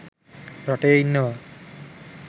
රටේ ඉන්නවා.